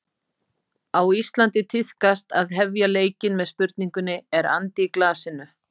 Á Íslandi tíðkast að hefja leikinn með spurningunni: Er andi í glasinu?